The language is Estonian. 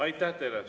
Aitäh teile!